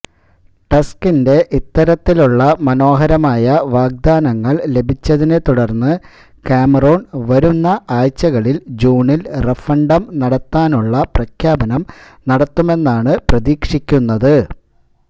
ടസ്കിന്റെ ഇത്തരത്തിലുള്ള മനോഹരമായ വാഗ്ദാനങ്ങൾ ലഭിച്ചതിനെ തുടർന്ന് കാമറോൺ വരുന്ന ആഴ്ചകളിൽ ജൂണിൽ റഫണ്ടം നടത്താനുള്ള പ്രഖ്യാപനം നടത്തുമെന്നാണ് പ്രതീക്ഷിക്കുന്നത്